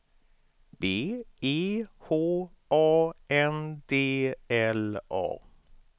B E H A N D L A